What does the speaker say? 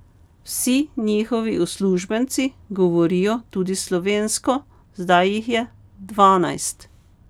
Vsi njihovi uslužbenci govorijo tudi slovensko, zdaj jih je dvanajst.